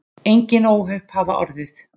Engin óhöpp hafa orðið